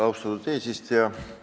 Austatud eesistuja!